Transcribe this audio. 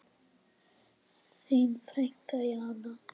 Þín frænka Jana.